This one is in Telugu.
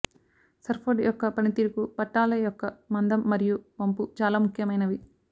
సర్ఫోర్డ్ యొక్క పనితీరుకు పట్టాల యొక్క మందం మరియు వంపు చాలా ముఖ్యమైనవి